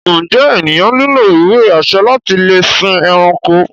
Njé ènìyàn nílò ìwé-àṣẹ láti lè sìn ẹranko?